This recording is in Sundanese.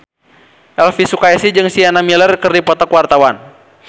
Elvy Sukaesih jeung Sienna Miller keur dipoto ku wartawan